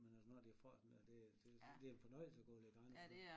Men altså når det har frossen der det det det en fornøjelse at gå og lægge gran ud så